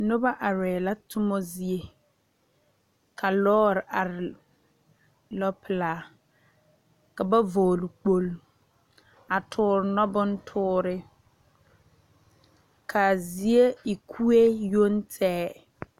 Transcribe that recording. Noba are la tuma zie ka lɔre are lɔ pelaa ka ba vɔgle kpolo a tuure noɔbontuura kaa zie e kue yoŋ tɛge .